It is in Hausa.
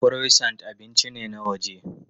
Croissant abinci ne na waje.